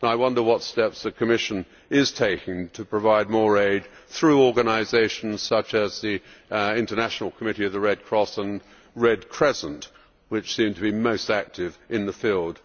I wonder what steps the Commission is taking to provide more aid through organisations such as the International Committee of the Red Cross and the Red Crescent, which seem to be most active in the field.